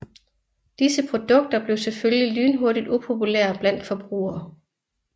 Disse produkter blev selvfølgelig lynhurtigt upopulære bland forbrugere